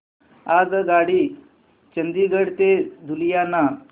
आगगाडी चंदिगड ते लुधियाना